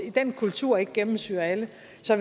den kultur ikke gennemsyrer alle